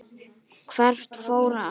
Hvert fóru allir?